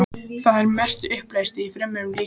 Það er að mestu uppleyst í frumum líkamans.